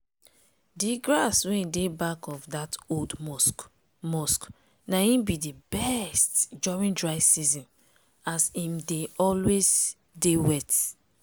d grass wey dey back of dat old mosque mosque na im be d best during dry season as im dey always dey wet.